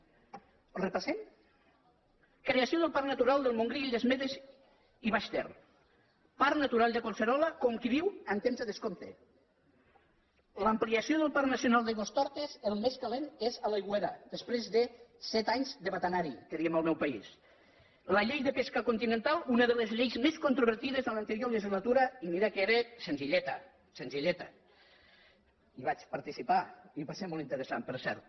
ho repassem creació del parc natural del montgrí les illes medes i baix ter parc natural de collserola com qui diu en temps de descompte en l’ampliació del parc nacional d’aigüestortes el més calent és a l’aigüera després de set anys de batanar hi que diem al meu país la llei de pesca continental una de les lleis més controvertides en l’anterior legislatura i mira que era senzilleta senzilleta hi vaig participar i va ser molt interessant per cert